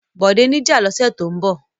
Bọ̀dé ní ìjà lọ́sẹ̀ tó ń bọ̀.